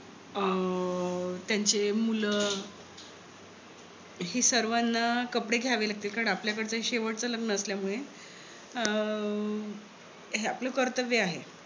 अं त्यांचे मुल हि सर्वांना कपडे घ्यावे लागतील. कारण आपल्याकडचे हे शेवटचे लग्न असल्यामुळे हे आपलं कर्तव्य आहे.